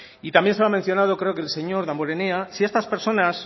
y también se lo ha mencionado creo que el señor damborenea si estas personas